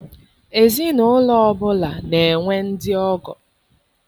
Ezinaụlọ ọbụla na-enwe ndị ọgọ.